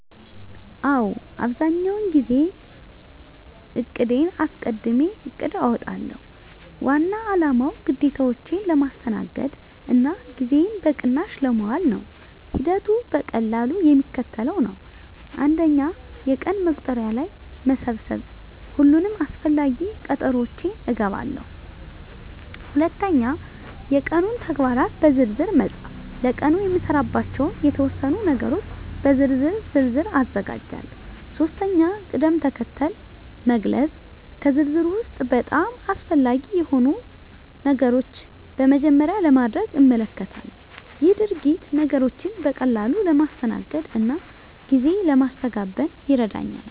አዎ፣ አብዛኛውን ጊዜ ቀንዴን አስቀድሜ እቅድ አውጣለሁ። ዋና አላማው ግዴታዎቼን ለማስተናገድ እና ጊዜዬን በቅናሽ ለማዋል ነው። ሂደቱ በቀላሉ የሚከተለው ነው፦ 1. የቀን መቁጠሪያ ላይ መሰብሰብ ሁሉንም አስፈላጊ ቀጠሮዎቼን እገባለሁ። 2. የቀኑን ተግባራት በዝርዝር መፃፍ ለቀኑ የምሰራባቸውን የተወሰኑ ነገሮች በዝርዝር ዝርዝር አዘጋጃለሁ። 3. ቅድም-ተከተል መግለጽ ከዝርዝሩ ውስጥ በጣም አስፈላጊ የሆኑትን ነገሮች በመጀመሪያ ለማድረግ እመልከታለሁ። ይህ ሂደት ነገሮችን በቀላሉ ለማስተናገድ እና ጊዜ ለማስተጋበን ይረዳኛል።